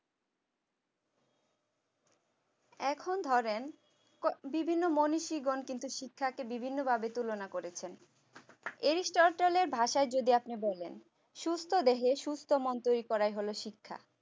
এখন ধরেন বিভিন্ন মনীষী গণ কিন্তু শিক্ষাকে বিভিন্ন ভাবে তুলনা করেছেন এরিস্টটলের ভাষায় যদি আপনি বলেন সুস্থ দেহে সুস্থ মন তৈরি করাই হলো শিক্ষা